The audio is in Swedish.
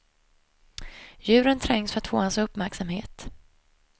Djuren trängs för att få hans uppmärksamhet.